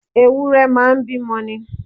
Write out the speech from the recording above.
Ewúrẹ́ máa ń bímọ ni.